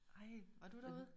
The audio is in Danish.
Ej var du derude?